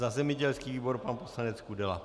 Za zemědělský výbor pan poslanec Kudela.